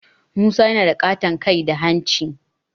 Musa yana da ƙaton kai da hanci